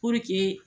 Puruke